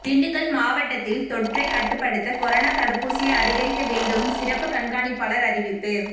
திண்டுக்கல் மாவட்டத்தில் தொற்றை கட்டுப்படுத்த கொரோனா தடுப்பூசியை அதிகரிக்க வேண்டும் சிறப்பு கண்காணிப்பாளர் அறிவிப்பு